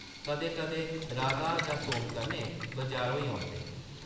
कदें-कदें राधा जां सोम कन्नै बजार होई औंदे ।